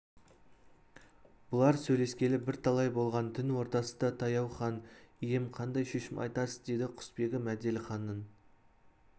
бұлар сөйлескелі бірталай болған түн ортасы да таяу хан ием қандай шешім айтасыз деді құсбегі мәделіханның